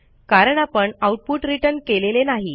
कारण आपण output return केलेले नाही